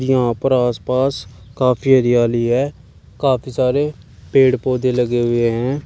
जहां पर आसपास काफी हरियाली है काफी सारे पेड़ पौधे लगे हुए हैं।